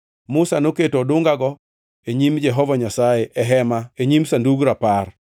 Musa noketo odungago e nyim Jehova Nyasaye e Hema e nyim Sandug Rapar.